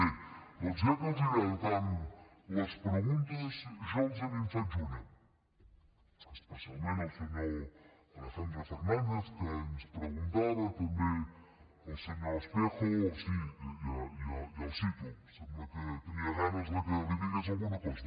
bé doncs ja que els agraden tant les preguntes jo els en faig una especialment al senyor alejandro fernández que ens preguntava i també al senyor espejo sí ja el cito sembla que tenia ganes de que li digués alguna cosa